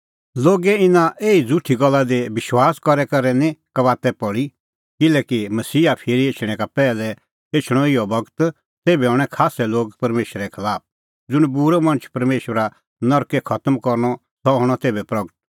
लोगे इना एही झ़ुठी गल्ला दी विश्वास करी करै निं कबाता पल़ी किल्हैकि मसीहा फिरी एछणैं का पैहलै एछणअ इहअ बगत तेभै हणैं खास्सै लोग परमेशरे खलाफ ज़ुंण बूरअ मणछ परमेशरा नरकै खतम करनअ सह हणअ तेभै प्रगट